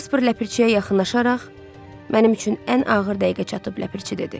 Casper ləpirçiyə yaxınlaşaraq, mənim üçün ən ağır dəqiqə çatıb, ləpirçi, dedi.